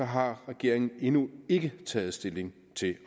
har regeringen endnu ikke taget stilling til